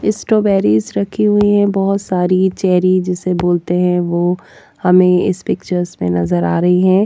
Strawberries रखी हुई हैं बहुत सारी चेरी जिसे बोलते हैं वो हमें इस पिक्चर्स में नजर आ रही है।